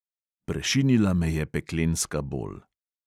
Prešinila me je peklenska bol.